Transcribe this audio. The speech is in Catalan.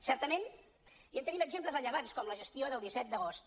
certament i en tenim exemples rellevants com la gestió del disset d’agost